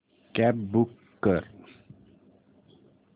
cab book कर